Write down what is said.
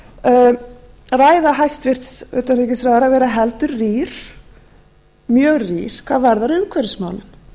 ræða hæstvirts utanríkisráðherra vera heldur rýr mjög rýr hvað varðar umhverfismálin